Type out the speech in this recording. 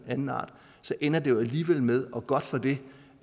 anden art ender det alligevel med og godt for det